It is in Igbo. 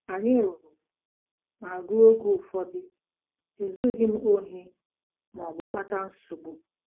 Anyị lụrụ, ma ruo oge ụfọdụ, ezughị m ohi ma ọ bụ kpata nsogbu.